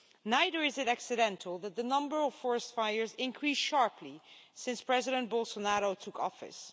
Neither is it accidental that the number of forest fires increased sharply since President Bolsonaro took office.